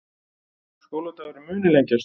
Skóladagurinn muni lengjast